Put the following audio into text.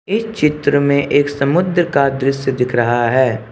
एक चित्र में एक समुद्र का दृश्य दिख रहा है।